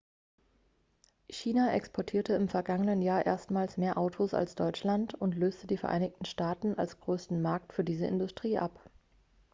china exportierte im vergangenen jahr erstmals mehr autos als deutschland und löste die vereinigten staaten als größten markt für diese industrie ab